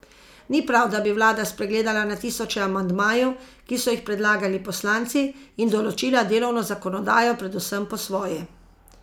Ni prav, da bi vlada spregledala na tisoče amandmajev, ki so jih predlagali poslanci, in določila delovno zakonodajo predvsem po svoje.